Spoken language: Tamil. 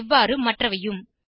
இவ்வாறு மற்றவையும்